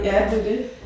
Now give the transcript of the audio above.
Ja det er det